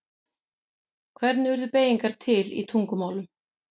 Hvernig urðu beygingar til í tungumálum?